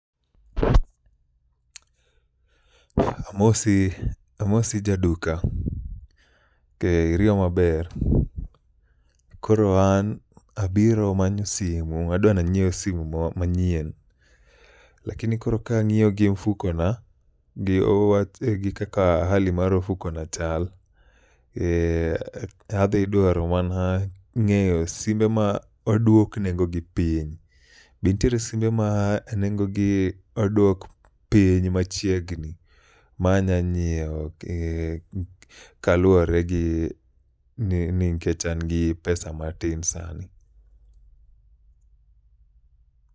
Amosi, amosi ja duka, ke iriyo maber? Koro an abiro manyo simu, adwani anyiew simu mo manyien. Lakini koro kang'iyo gi mfuko na gi o wach gi kaka hali mar ofuko na chal, adwaro mana ng'eyo simbe ma odwok nengo gi piny. Be ntiere simbe ma nengogi odwok piny machiegni manya nyiewo kaluwore gi ni, ni nkech an gi pesa matin sani.